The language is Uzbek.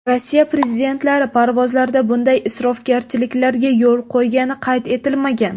Rossiya prezidentlari parvozlarda bunday isrofgarchiliklarga yo‘l qo‘ygani qayd etilmagan.